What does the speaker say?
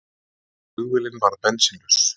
Flugvélin varð bensínlaus